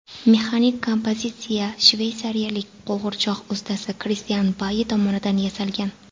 Mexanik kompozitsiya shveysariyalik qo‘g‘irchoq ustasi Kristian Bayi tomonidan yasalgan.